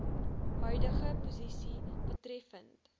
huidige posisie betreffende